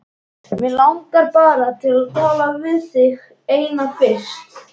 Mig langar bara til að tala við þig eina fyrst.